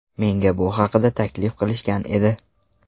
Menga bu haqida taklif qilishgan edi.